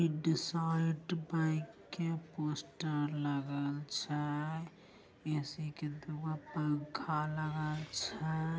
IndusInd bank के poster लगल छे ऐ.सी. के दो पंखा लागल छे।